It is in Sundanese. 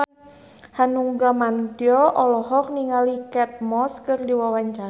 Hanung Bramantyo olohok ningali Kate Moss keur diwawancara